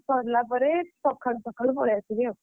ସରିଲା ପରେ ସଖାଳୁ ସଖାଳୁ ପଳେଇ ଆସିବି ଆଉ,